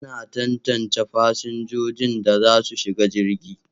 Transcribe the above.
Ana tantance fasinjojin da za su shiga jirgi.